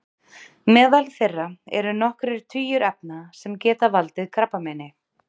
Meðal þeirra eru nokkrir tugir efna sem geta valdið krabbameini.